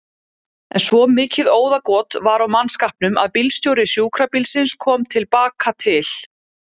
En svo mikið óðagot var á mannskapnum að bílstjóri sjúkrabílsins kom til baka til